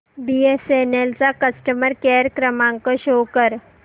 BSNL चा customer care क्रमांक show कर